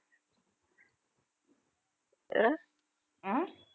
அஹ் உம்